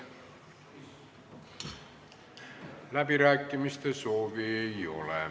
Läbirääkimiste soovi ei ole.